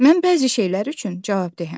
Mən bəzi şeylər üçün cavabdehəm.